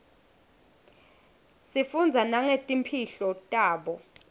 sifundza nangetimpihlo tabo